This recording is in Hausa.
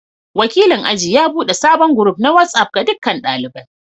Wakilin aji ya bude sabon group na WhatsApp ga dukkan daliban.